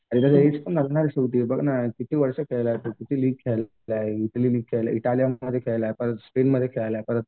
आणि त्याचं एज पण असणार शेवटी बघ ना किती वर्ष खेळला तो किती लीग खेळलाय इटली लीग खेळलोय इटालियन परत स्पेनमध्ये खेळलोय परत